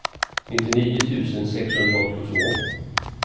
nittionio tusen sexhundraåttiotvå